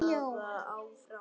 Og nóttin var hljóð.